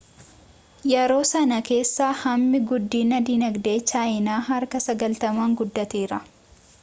yeroo sanaa kaasee hammi guddinii dinagdee chaayinaa harka 90n guddateera